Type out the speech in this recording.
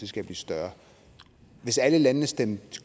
skal blive større hvis alle landene stemte